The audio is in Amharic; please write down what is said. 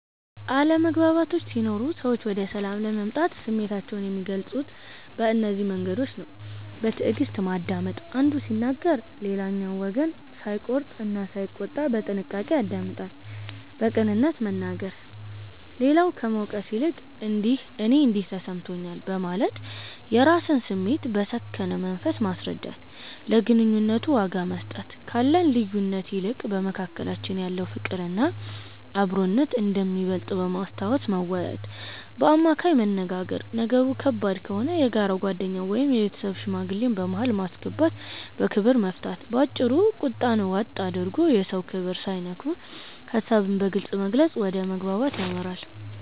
አለመግባባቶች ሲኖሩ ሰዎች ወደ ሰላም ለመምጣት ስሜታቸውን የሚገልጹት በእነዚህ መንገዶች ነው፦ በትዕግስት ማዳመጥ፦ አንዱ ሲናገር ሌላኛው ወገን ሳይቆርጥ እና ሳይቆጣ በጥንቃቄ ያደምጣል። በቅንነት መናገር፦ ሌላውን ከመውቀስ ይልቅ "እኔ እንዲህ ተሰምቶኛል" በማለት የራስን ስሜት በሰከነ መንፈስ ማስረዳት። ለግንኙነቱ ዋጋ መስጠት፦ ካለን ልዩነት ይልቅ በመካከላችን ያለው ፍቅርና አብሮነት እንደሚበልጥ በማስታወስ መወያየት። በአማካይ መነጋገር፦ ነገሩ ከባድ ከሆነ የጋራ ጓደኛን ወይም የቤተሰብ ሽማግሌን በመሃል በማስገባት በክብር መፍታት። ባጭሩ፤ ቁጣን ዋጥ አድርጎ፣ የሰውን ክብር ሳይነኩ ሐሳብን በግልጽ መግለጽ ወደ መግባባት ያመራል።